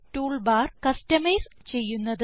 toolbar customise ചെയ്യുന്നത്